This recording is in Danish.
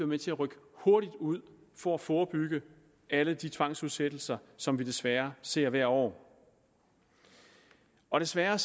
med til at rykke hurtigt ud for at forebygge alle de tvangsudsættelser som vi desværre ser hvert år år desværre